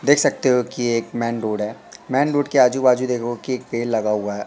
देख सकते हो कि ये एक मेन रोड है मेन रोड के आजू बाजू देखोगे कि एक पेड़ लगा हुआ--